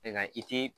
Nka i ti